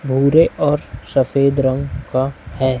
भूरे और सफेद रंग का है।